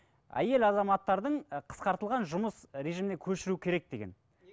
әйел азаматтардың і қысқартылған жұмыс режиміне көшіру керек деген